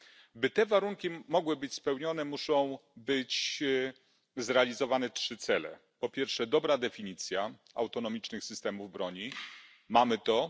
Aby te warunki mogły być spełnione muszą być zrealizowane trzy cele po pierwsze dobra definicja autonomicznych systemów broni mamy to.